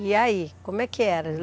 E aí, como é que era?